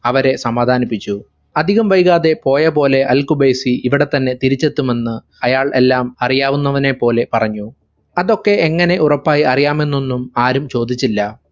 അവരെ സമാധാനിപ്പിച്ചു അധികം വൈകാതെ പോയപോലെ അൽ ഖുബൈസി ഇവിടത്തന്നെ തിരിച്ചെത്തുമെന്ന് അയാൾ എല്ലാം അറിയാവുന്നവനെ പോലെ പറഞ്ഞു അതൊക്കെ എങ്ങനെ ഉറപ്പായി അറിയാമെന്നൊന്നും ആരും ചോദിച്ചില്ല.